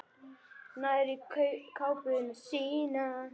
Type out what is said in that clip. Nær í kápuna sína.